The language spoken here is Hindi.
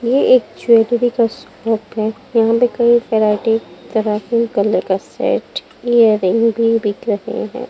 ये एक ज्वेलरी का शॉप है यहां पे कई वैरायटी तरह के कलर का सेट दिख रहा है।